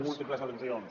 múltiples al·lusions